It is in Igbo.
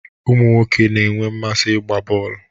Ụmụ nwoke na-enwe mmasị ịgba bọl.